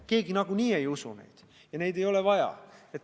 Keegi nagunii ei usu neid ja neid ei ole vaja.